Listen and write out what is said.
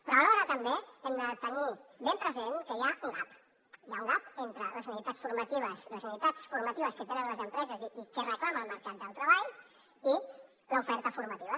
però alhora també hem de tenir ben present que hi ha un gap hi ha un necessitats formatives que tenen les empreses i que reclama el mercat del treball i l’oferta formativa